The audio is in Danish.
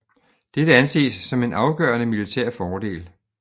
Dette anses som en afgørende militær fordel